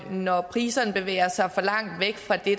når priserne bevæger sig for langt væk fra det